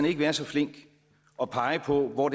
ikke være så flink at pege på hvor